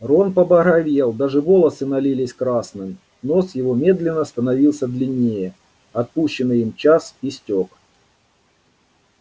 рон побагровел даже волосы налились красным нос его медленно становился длиннее отпущенный им час истёк